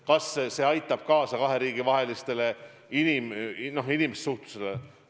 Kas see aitab kaasa kahe riigi vahelisele inimsuhtlusele?